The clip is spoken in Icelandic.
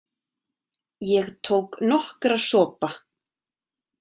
Ég tók nokkra sopa.